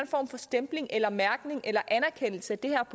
form for stempling eller mærkning eller anerkendelse af det her